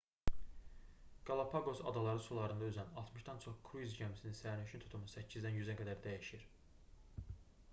qalapaqos adaları sularında üzən 60-dan çox kruiz gəmisinin sərnişin tutumu 8-dən 100-ə qədər dəyişir